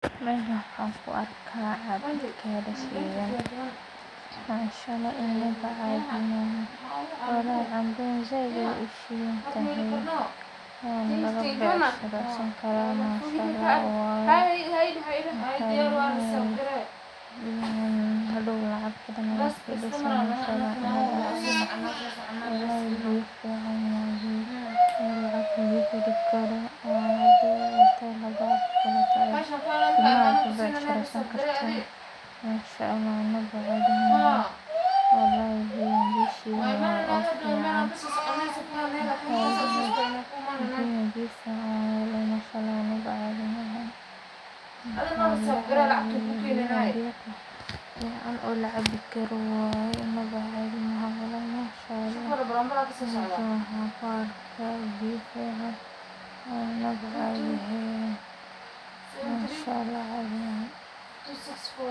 Meshan waxan ku arka cagad shidhan canbadan said ayey u shidhantahay wana laga becahiresan karaa manshaallah waye waxaa muhiim ah in hadow lacabi karo cafimaad laga heli karo nafaqo ayey kamiid tahay ilma aya ku becshireysan kartaa manshaallah walahi bilahi biya shidan oo fican waye inaba cadhi maha, biyahan biyo fican oo lacabi karo waye manshaallah meshan waxaan kuarka biyo fican walahi cadhi maaha.